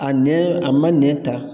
A nɛn, a ma nɛn ta.